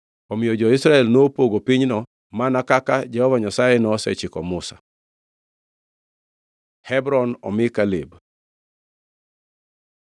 Omiyo jo-Israel nopogo pinyno mana kaka Jehova Nyasaye nosechiko Musa. Hebron omi Kaleb